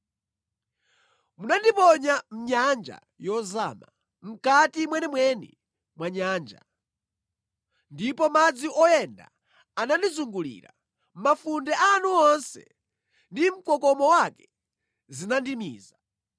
Munandiponya mʼnyanja yozama, mʼkati mwenimweni mwa nyanja, ndipo madzi oyenda anandizungulira; mafunde anu onse ndi mkokomo wake zinandimiza.